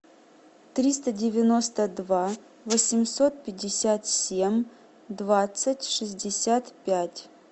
триста девяносто два восемьсот пятьдесят семь двадцать шестьдесят пять